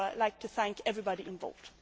I would like to thank everybody involved.